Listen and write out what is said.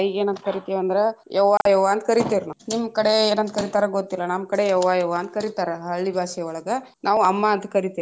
ಏನಂತಕರೀತೇವಂದ್ರ ಯವ್ವ ಯವ್ವ ಅಂತ ಕರಿತೇವ್ ನಾವ್. ನಿಮ್ಮ ಕಡೆ ಏನಂತ ಕರೀತಾರೆ ಗೊತ್ತಿಲ್ಲಾ ನಮ್ಮ ಕಡೆ ಯವ್ವ ಯವ್ವ ಅಂತ ಕರೀತಾರೆ ಹಳ್ಳಿ ಬಾಷೆವಳಗ ನಾವು ಅಮ್ಮಾ ಅಂತ ಕರಿತೇವ್ರಿ.